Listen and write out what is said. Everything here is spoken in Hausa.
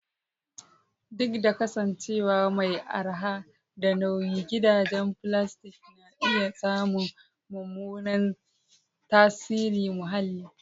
Duk da kasancewa mai araha da nauyi, gidajen filastik na iya samun mummunan tasirin muhalli.